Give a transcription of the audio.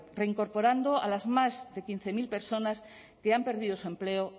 reincorporan a las más de quince mil personas se han perdido su empleo